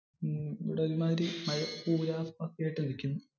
ഹാ